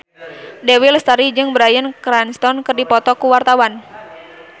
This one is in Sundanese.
Dewi Lestari jeung Bryan Cranston keur dipoto ku wartawan